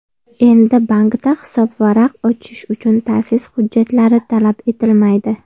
Endi bankda hisobvaraq ochish uchun ta’sis hujjatlari talab etilmaydi.